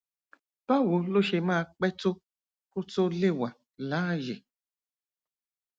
báwo ló ṣe máa pẹ tó kó tó lè wà láàyè